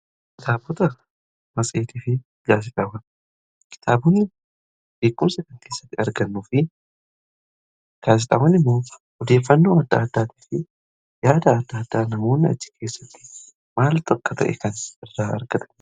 Kitaabota matseetii fi gaazixaawwan. Kitaabonni beekumsa kan keessatti argannuu fi gaazixaawwan immoo odeeffannoo adda addaa fi yaada adda addaa namoon achii keessatti maaltu akka ta'e kan irraa argatanidha.